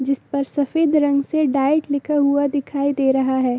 जिस पर सफेद रंग के डाइट लिखा हुआ दिख रहा है।